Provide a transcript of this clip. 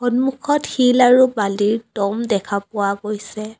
সন্মুখত শিল আৰু বালিৰ দ'ম দেখা পোৱা গৈছে।